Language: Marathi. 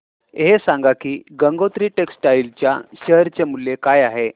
हे सांगा की गंगोत्री टेक्स्टाइल च्या शेअर चे मूल्य काय आहे